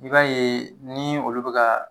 I b'a ye ni olu be kaa